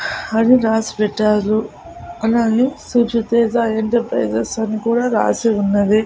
అని రాసి పెట్టారు అలాగే సుజి తేజ ఎంటర్ప్రైజెస్ అని కూడా రాసి ఉన్నది.